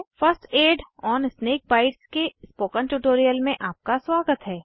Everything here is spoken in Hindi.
first aid on snake bites के स्पोकन ट्यूटोरियल में आपका स्वागत है